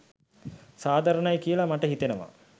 සාධාරණයි කියලා මට හිතෙනවා.